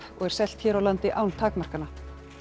og er selt hér á landi án takmarkana